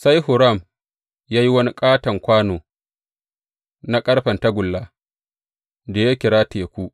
Sai Huram ya yi wani ƙaton kwano na ƙarfen tagulla, da ya kira Teku.